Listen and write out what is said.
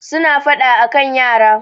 suna fada a kan yara